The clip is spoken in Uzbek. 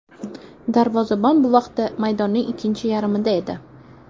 Darvozabon bu vaqtda maydonning ikkinchi yarmida edi.